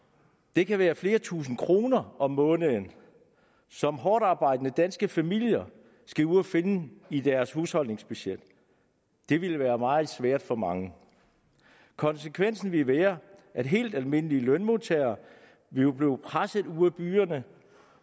det kan være flere tusind kroner om måneden som hårdtarbejdende danske familier skal ud og finde i deres husholdningsbudget det ville være meget svært for mange konsekvensen ville være at helt almindelige lønmodtagere ville blive presset ud af byerne